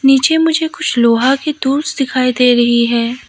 नीचे मुझे कुछ लोहा के टूल्स दिखाई दे रही है।